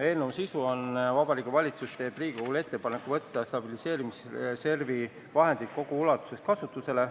Eelnõu sisu on see, et Vabariigi Valitsus teeb Riigikogule ettepaneku võtta stabiliseerimisreservi vahendid kogu ulatuses kasutusele.